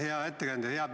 Hea ettekandja!